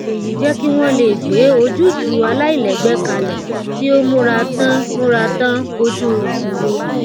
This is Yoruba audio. èyí jẹ kí wọn lè gbé ojútùú àláìlẹgbẹ kalẹ tí ó múra tán múra tán kójú ìṣòro